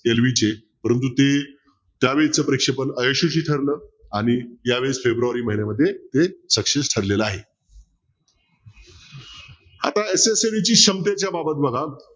LV चे परंतू ते त्यावेळचं प्रेक्षपण अयशवी ठरलं आणि या वेळेस फेब्रूवारी महिन्यामध्ये हे success ठरलेलं आहे आता SSLV च्या क्षमतेच्या बाबत बघा